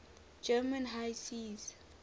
german high seas